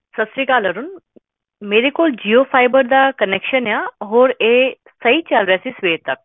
ਹੁਣ ਓਨ ਵੀ ਕਰਿਆ ਹੁਣੇ